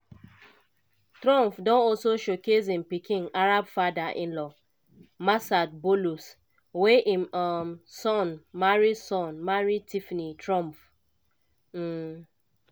trump don also showcase im pikin arab father-in-law massad boulous wey im um son marry son marry tiffany trump. um